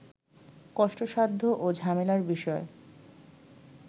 কষ্টসাধ্য ও ঝামেলার বিষয়